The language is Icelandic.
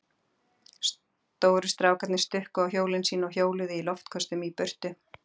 Stóru strákarnir stukku á hjólin sín og hjóluðu í loftköstum í burtu.